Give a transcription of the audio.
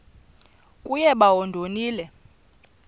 kuye bawo ndonile